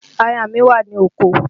Aya mi wà ní oko